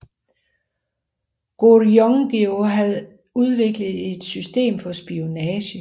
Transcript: Goguryeo havde udviklet et system for spionage